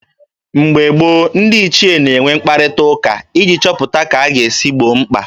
Mgbe gboo, ndị ichie na-enwe mkparịtaụka iji chọpụta ka a ga-esi gboo mkpa